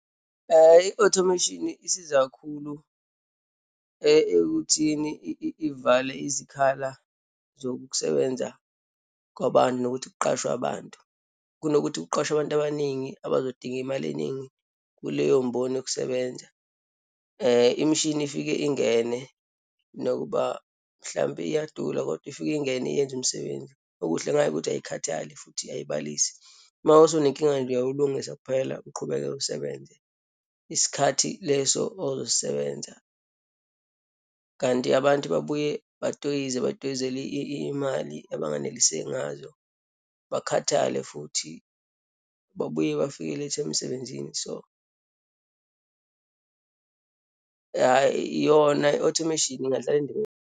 I-automation isiza kakhulu ekuthini ivale izikhala zokukusebenza kwabantu nokuthi kuqashwe abantu. Kunokuthi kuqashwe abantu abaningi abazodinga imali eningi kuleyo mboni yokusebenza. Imishini ifike ingene nokuba mhlampe iyadula, kodwa ifike ingene iyenza imisebenzi. Okuhle ngayo ukuthi ayikhathali futhi ayibalisi. Uma sewunenkinga nje, uyawulungisa kuphela, uqhubeke usebenze isikhathi leso ozosibenza. Kanti abantu babuye batoyize, batoyizele iyimali abanganeliseki ngazo, bakhathale, futhi babuye bafike late emsebenzini. So, yona i-automation ingadlala indima.